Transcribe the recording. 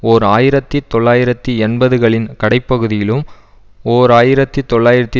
ஓர் ஆயிரத்தி தொள்ளாயிரத்தி எண்பது களின் கடைப்பகுதியிலும் ஓர் ஆயிரத்தி தொள்ளாயிரத்தி